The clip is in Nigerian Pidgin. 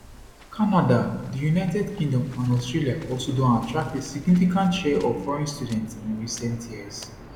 canada di united kingdom and australia also don attract a significant share of foreign students in recent years